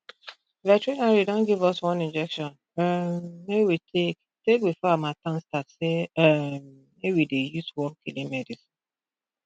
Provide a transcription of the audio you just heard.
veterinary don give us one injection um make we take take before harmattan start say um make we dey use wormkilling medicine